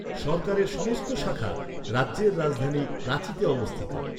সরকারের সমস্ত শাখা রাজ্যের রাজধানী রাঁচিতে অবস্থিত।